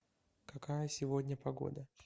какая сегодня погода